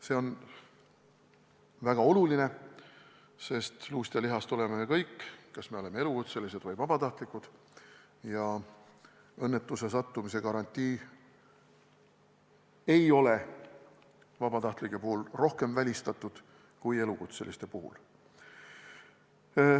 See on väga oluline, sest luust ja lihast oleme me kõik, kas elukutselised või vabatahtlikud, ja õnnetusse sattumise garantii ei ole vabatahtlike puhul rohkem välistatud kui elukutseliste puhul.